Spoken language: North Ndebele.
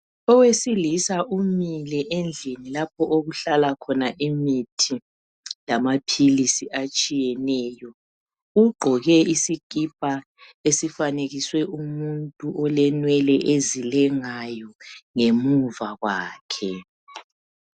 Owesilisa umile endlini lapho okuhala khona imithi lamaphilisi atshiyeneyo. gqoke isikipa esifanekiswe umuntu olenwele ezilengayo ngemuva kwakhe.